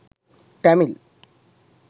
tamil